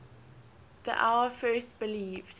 the hour first believed